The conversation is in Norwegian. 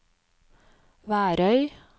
Værøy